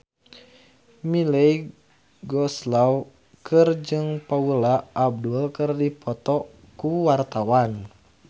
Melly Goeslaw jeung Paula Abdul keur dipoto ku wartawan